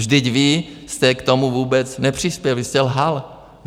Vždyť vy jste k tomu vůbec nepřispěl, vy jste lhal.